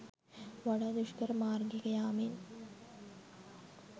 වඩා දුෂ්කර මාර්ගයක යාමෙන්